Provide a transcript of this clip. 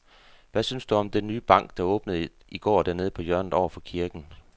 Hvad synes du om den nye bank, der åbnede i går dernede på hjørnet over for kirken?